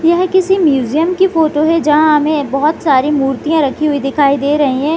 यह किसी म्यूजियम की फोटो है जहां हमें बहुत सारे मूर्तियां रखी हुई दिखाई दे रही है।